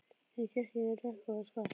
Inni í kirkjunni er rökkvað og svalt.